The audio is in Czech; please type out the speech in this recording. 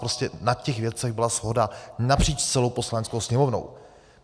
Prostě na těch věcech byla shoda napříč celou Poslaneckou sněmovnou.